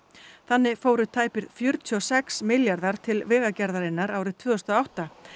þannig fóru tæpir fjörutíu og sex milljarðar til Vegagerðarinnar árið tvö þúsund og átta